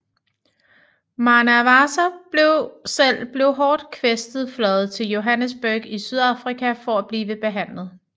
Mwanawasa selv blev hårdt kvæstet fløjet til Johannesburg i Sydafrika for at blive behandlet